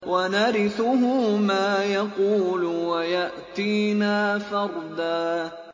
وَنَرِثُهُ مَا يَقُولُ وَيَأْتِينَا فَرْدًا